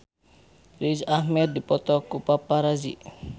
Riz Ahmed dipoto ku paparazi